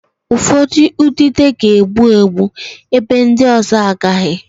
Ụfọdụ udide ga-egbu egbu, ebe ndị ọzọ agaghị